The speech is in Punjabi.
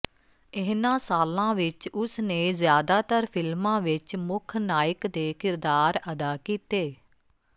ਇਨ੍ਹਾਂ ਸਾਲਾਂ ਵਿਚ ਉਸ ਨੇ ਜ਼ਿਆਦਾਤਰ ਫ਼ਿਲਮਾਂ ਵਿਚ ਮੁੱਖ ਨਾਇਕ ਦੇ ਕਿਰਦਾਰ ਅਦਾ ਕੀਤੇ